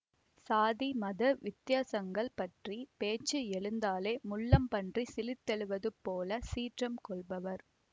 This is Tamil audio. சாதி மத வித்தியாசங்கள் பற்றிய பேச்சு எழுந்தாலே முள்ளம்பன்றி சிலிர்த்தெழுவது போல சீற்றம் கொள்பவர்